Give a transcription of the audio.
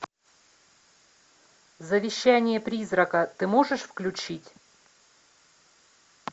завещание призрака ты можешь включить